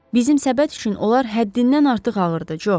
Bizim səbət üçün onlar həddindən artıq ağırdı, Co.